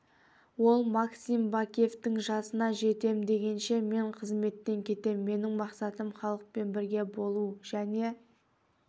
ол максим бакиевтің жасына жетем дегенше мен қызметтен кетем менің мақсатым халықпен бірге болуы және